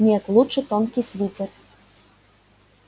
нет лучше тонкий свитер